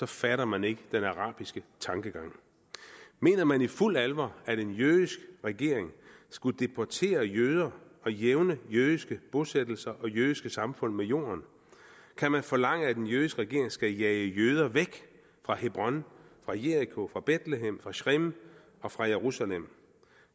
fatter man ikke den arabiske tankegang mener man i fuldt alvor at en jødisk regering skulle deportere jøder og jævne jødiske bosættelser og jødiske samfund med jorden kan man forlange at den jødiske regering skal jage jøder væk fra hebron fra jeriko fra betlehem fra schreem og fra jerusalem